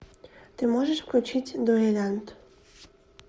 ты можешь включить дуэлянт